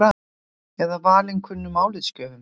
Eða valinkunnum álitsgjöfum?